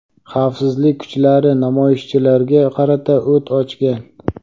xavfsizlik kuchlari namoyishchilarga qarata o‘t ochgan.